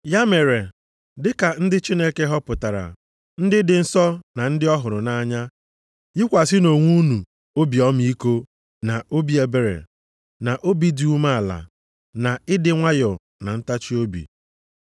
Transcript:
Ya mere, dị ka ndị Chineke họpụtara, ndị dị nsọ na ndị ọ hụrụ nʼanya, yikwasịnụ onwe unu obi ọmịiko, na obi ebere, na obi dị umeala, na ịdị nwayọọ, na ntachiobi.